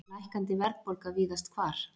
Lækkandi verðbólga víðast hvar